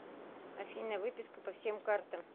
афина выписка по всем картам